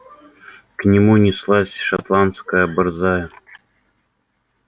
к нему неслась шотландская борзая